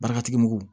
Baaratigi mugu